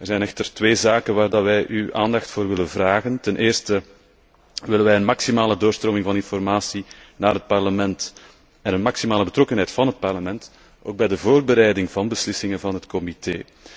Er zijn echter twee zaken waarvoor wij uw aandacht vragen. Ten eerste willen wij een maximale doorstroming van informatie naar het Parlement en een maximale betrokkenheid van het Parlement, ook bij de voorbereiding van beslissingen van het comité.